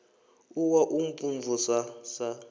u wa u mvumvusa sa